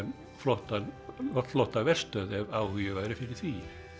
flotta flotta verstöð ef áhugi væri fyrir því